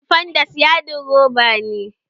Sifandes yadin roba ne